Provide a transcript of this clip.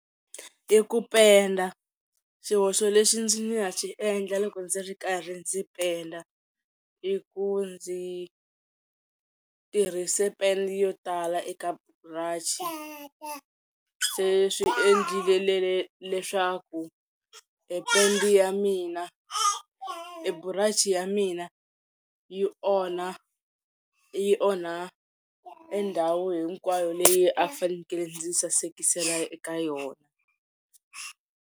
I ku penda, xihoxo lexi ndzi nga xi endla loko ndzi ri karhi ndzi penda i ku ndzi tirhise pende yo tala yo tala eka brush, se swi endlile leswaku e pende ya mina e burachi ya mina yi onha yi onha e ndhawu hinkwayo leyi a ni fanekele ndzi sasekisela eka yona.